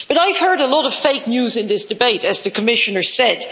But I've heard a lot of fake news in this debate, as the Commissioner said.